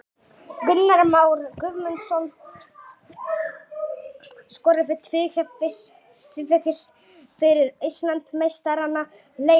Gunnar Már Guðmundsson skoraði tvívegis fyrir Íslandsmeistarana í leiknum.